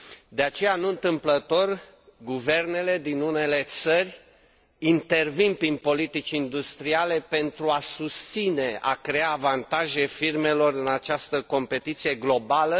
De aceea, nu întâmplător, guvernele din unele țări intervin prin politici industriale pentru a susține, a crea avantaje firmelor în această competiție globală.